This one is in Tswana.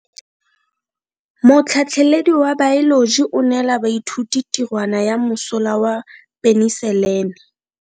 Motlhatlhaledi wa baeloji o neela baithuti tirwana ya mosola wa peniselene.